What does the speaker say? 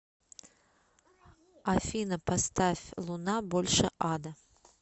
афина поставь луна больше ада